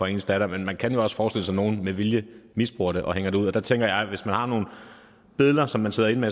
hendes datter men man kan jo også forestille sig at nogen med vilje misbruger det og hænger nogen ud og der tænker jeg at hvis man har nogle billeder som man sidder inde